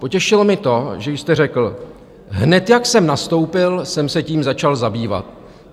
Potěšilo mě to, že jste řekl: Hned, jak jsem nastoupil, jsem se tím začal zabývat.